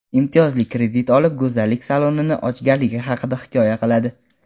imtiyozli kredit olib "Go‘zallik saloni"ni ochganligi haqida hikoya qiladi.